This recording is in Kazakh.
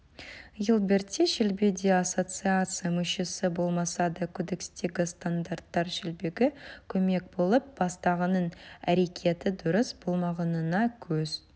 гилберт те шелби де ассоциация мүшесі болмаса да кодекстегі стандарттар шелбиге көмек болып бастығының әрекеті дұрыс болмағанына көз